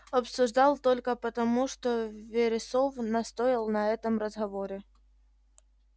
обсуждал только потому что вересов настоял на этом разговоре